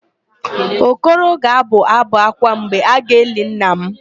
Okoro ga-abụ ábụ̀ ákwá mgbe a ga-eli nna m.